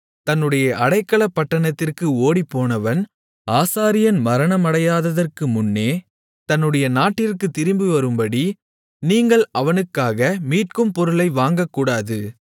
தன்னுடைய அடைக்கலப்பட்டணத்திற்கு ஓடிப்போனவன் ஆசாரியன் மரணமடையாததற்கு முன்னே தன்னுடைய நாட்டிற்குத் திரும்பிவரும்படி நீங்கள் அவனுக்காக மீட்கும் பொருளை வாங்கக்கூடாது